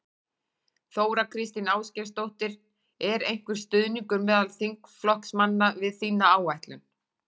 Þóra Kristín Ásgeirsdóttir: Er einhver stuðningur meðal þinna flokksmanna við þína áætlun?